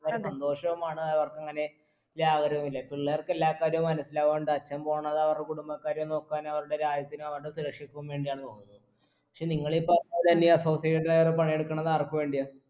അവരെ സന്തോഷവുമാണ് അവർക്കങ്ങനെ ലാപകരവുമില്ല പിള്ളേർക്കെല്ലാർക്കവരെ മനസ്സിലാവുന്നുണ്ട് അച്ഛൻ പോവുന്നത് അവരുടെ കുടുംബകാര്യം നോക്കാൻ അവരുടെ രാജ്യത്തിൻറേം അവരുടെ സുരക്ഷക്കും വേണ്ടിയാണ് പോവുന്നത് പക്ഷെ നിങ്ങളീ പറഞ്ഞ പോലെന്നെ ഈ associate director പണിയെടുക്കുന്നത് ആർക്ക് വേണ്ടിയാ